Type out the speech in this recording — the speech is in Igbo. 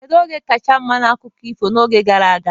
Kedu oge kacha mma maka akụkọ ifo n'oge gara aga?